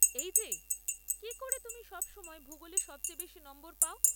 এই যে, কি করে তুমি সব সময় ভূগোলে সবচেয়ে বেশি নম্বর পাও?